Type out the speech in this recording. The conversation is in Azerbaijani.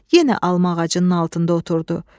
Yenə alma ağacının altında oturdu.